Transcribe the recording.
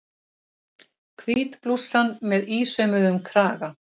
Hvít blússan með ísaumuðum kraga.